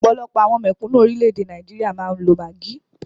Ọ̀pọ̀lọpọ̀ àwọn mèkúnù orilẹ ede Nigeria máa ni lo Maggi.